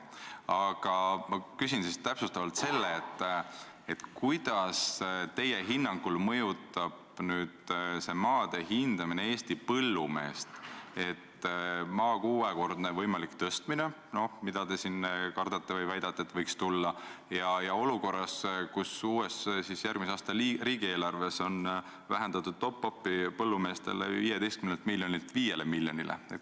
Aga ma küsin täpsustavalt, kuidas teie hinnangul mõjutab maade hindamine Eesti põllumeest olukorras, kus võib tulla maa hinna kuuekordne võimalik tõstmine, nagu te kardate või väidate, ja järgmise aasta riigieelarves on vähendatud põllumeeste top-up'i 15 miljonilt 5 miljonile.